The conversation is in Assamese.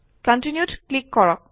Continue ত ক্লিক কৰক